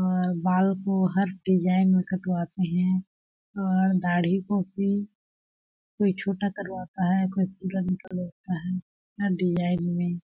और बाल को हर डिजाईन में कटवाते है और दाड़ी को भी कोई छोटा करवाता है कोई पूरा निकलवाता है हर डिजाईन में-- .